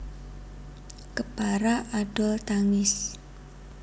Kepara adol tangis